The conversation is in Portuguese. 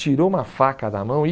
Tirou uma faca da mão e...